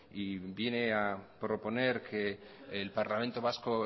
y viene a proponer que el parlamento vasco